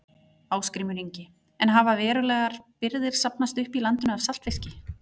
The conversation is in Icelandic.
Ásgrímur Ingi: En hafa verulegar birgðir safnast upp í landinu af saltfiski?